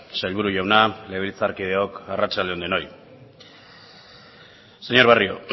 sailburu jauna legebiltzarkideok arratsalde on denoi señor barrio